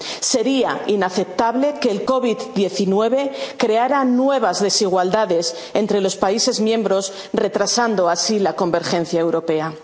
Sería inaceptable que la COVID 19 creara nuevas desigualdades entre los Estados miembros, retrasando así la convergencia